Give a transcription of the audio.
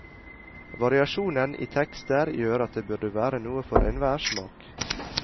Variasjonen i tekster gjør at det burde være noe for enhver smak.